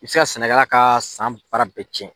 I bɛ se ka sɛnɛkɛla ka san baara bɛɛ cɛn.